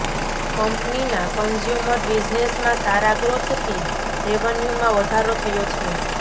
કંપનીના કન્ઝ્યુમર બિઝનેસમાં સારા ગ્રોથથી રેવન્યુમાં વધારો થયો છે